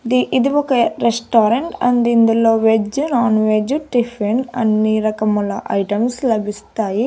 The ఇది ఒక restaurant and ఇందులో వెజ్జు నాన్ వెజ్జు టిఫిన్ అన్ని రకముల ఐటమ్స్ లభిస్తాయి.